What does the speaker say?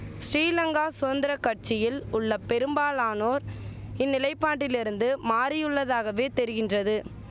ஸ்ரீலங்கா சுதந்திர கட்சியில் உள்ள பெரும்பாலானோர் இந்நிலைபாட்டிலிருந்து மாறியுள்ளதாகவே தெரிகின்றது